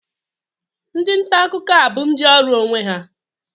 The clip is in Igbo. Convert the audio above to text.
Ndị nta akụkọ a bụ ndị ọrụ onwe ha